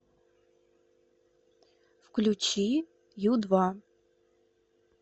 включи ю два